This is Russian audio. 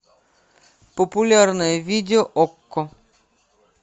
популярное видео окко